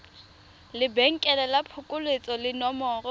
lebenkele la phokoletso le nomoro